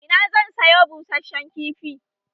Ina zan sayo busheshen kifi?